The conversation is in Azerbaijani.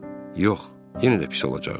Yox, yenə də pis olacaqdı.